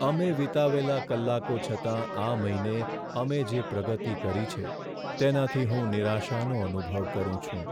અમે વિતાવેલા કલાકો છતાં આ મહિને અમે જે પ્રગતિ કરી છે તેનાથી હું નિરાશાનો અનુભવ કરું છું.